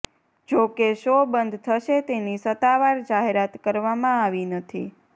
જો કે શો બંધ થશે તેની સત્તાવાર જાહેરાત કરવામાં આવી નથી